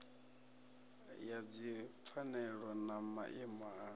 ya dzipfanelo na maimo a